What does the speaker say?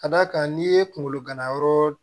Ka d'a kan n'i ye kunkolo ganayɔrɔ